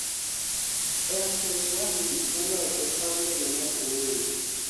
air force one nolor e paw ndege mar hanoi